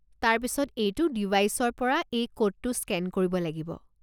তাৰপিছত এইটো ডিভাইচৰ পৰা এই ক'ডটো স্কেন কৰিব লাগিব।